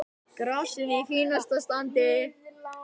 Grasið í fínasta standi.